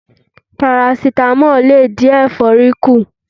Parasítámọ̀ lè dín ẹ̀fọ́rí kù.